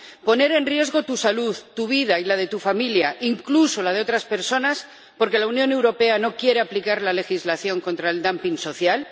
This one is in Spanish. ¿Poner en riesgo tu salud, tu vida y la de tu familia, incluso la de otras personas, porque la Unión Europea no quiere aplicar la legislación contra el dumping social?